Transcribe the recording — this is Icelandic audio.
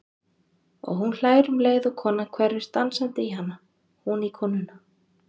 Og hún hlær um leið og konan hverfist dansandi í hana, hún í konuna.